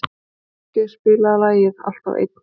Láki, spilaðu lagið „Alltaf einn“.